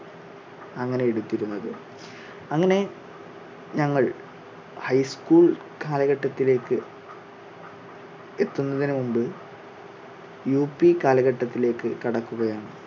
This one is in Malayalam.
അങ്ങനെ എടുത്തിരുന്നത്. അങ്ങനെ ഞങ്ങൾ high school കാലഘട്ടത്തിലേക്ക് എത്തുന്നതിന് മുൻപ് യു പി കാലഘട്ടത്തിലേക്ക് കടക്കുകയാണ്